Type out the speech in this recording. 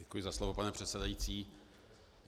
Děkuji za slovo, pane předsedající.